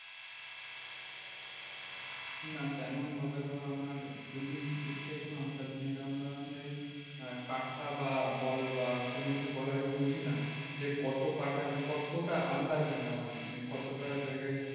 না তেমন ভাবে ধর আমার জমির দিকথেকে কোনো আন্দাজ নেই। কারণ ধর আমি ওই কাঠা বা বল বা কোনোকিছু বল আমি বুঝি না। যে কত কাঠা মানে কতটা আন্দাজ হয় না আমার মানে কতটা জায়গায়